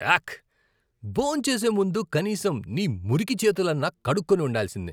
యాక్! భోంచేసే ముందు కనీసం నీ మురికి చేతులన్నా కడుక్కుని ఉండాల్సింది.